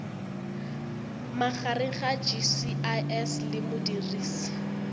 magareng ga gcis le modirisi